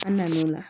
An nan'o la